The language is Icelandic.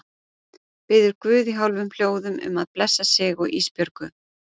Biður guð í hálfum hljóðum um að blessa sig og Ísbjörgu.